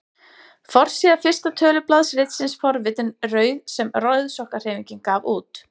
Forsíða fyrsta tölublaðs ritsins Forvitin rauð sem Rauðsokkahreyfingin gaf út.